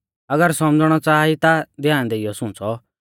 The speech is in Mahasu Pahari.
अगर सौमझ़णै च़ाहा ई ता ध्यान देइयौ सुंच़ौ